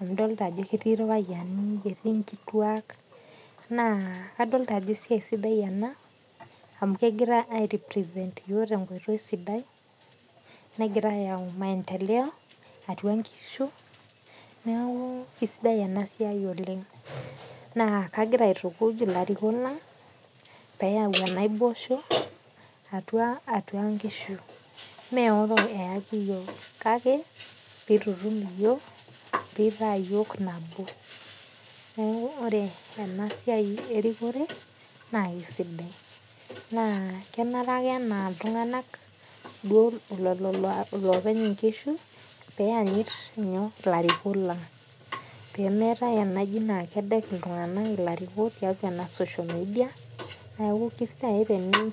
amu idolta ajo etii irpayiani etii nkituak na adolta ajo esiai sidai ena amu kehira ayau maendeleo atua nkishu neaku kesidai enasia oleng neaku kagira aitukuny ilarikok lang payau naboisho atua nkishu meoro eaki yiok kake pitutum yiok nitaa yiok nabo neaku ore enasiai erikore na kesidai na kenare ake anaa ltunganak lopeny nkishu peanyit larikok lang pemeetae ake enaa kedek ltunganak ilarikok tiatua ena social media neaku kesidai